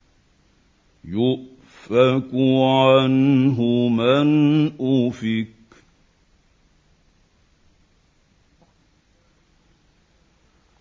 يُؤْفَكُ عَنْهُ مَنْ أُفِكَ